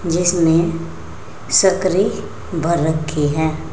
जिसमें सकरी भर रखी है।